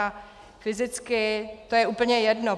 A fyzicky to je úplně jedno.